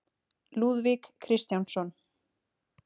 Lúðvík Kristjánsson.